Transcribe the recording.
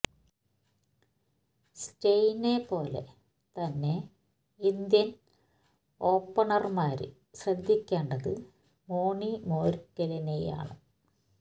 സ്റ്റെയ്നെ പോലെ തന്നെ ഇന്ത്യന് ഓപ്പണര്മാര് ശ്രദ്ധിക്കേണ്ടത് മോണി മോര്ക്കലിനെ ആണ്